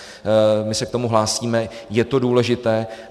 My se k tomu hlásíme, je to důležité.